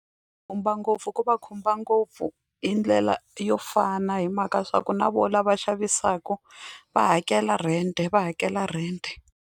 Khumba ngopfu ku va khumba ngopfu hi ndlela yo fana hi mhaka ya swa ku na vona lava xavisaka va hakela rent-e va hakela rent-e.